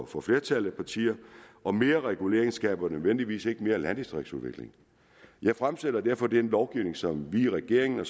for flertallet af partier og mere regulering skaber ikke nødvendigvis mere landdistriktsudvikling jeg fremsætter derfor den lovgivning som vi i regeringen